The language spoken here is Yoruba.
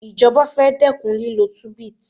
Àwọn ìjọba fẹ́ dẹ́kun lílọ tunbit